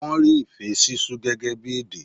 Wọ́n rí ìfé sísú gẹ́gẹ́ bí èdè.